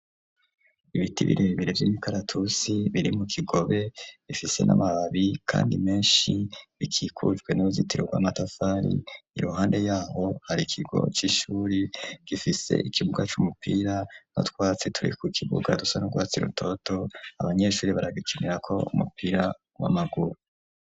Ibiti birebere vy'imikaratusi biri mu kigobe bifise n'amababi kandi meshi bikikujwe n'uruzitiro rwa matafari iruhande yaho hari kigo c'ishuri gifise ikibuga c'umupira aho utwatsi turi ku kibuga dusa n'urwatsi rutoto abanyeshuri baragikinirako umupira w'amaguru.